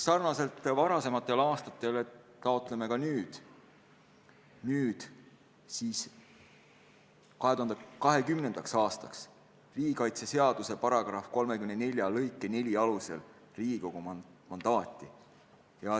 Sarnaselt varasemate aastatega taotleme ka nüüd 2020. aastaks riigikaitseseaduse § 34 lõike 4 alusel Riigikogu mandaati.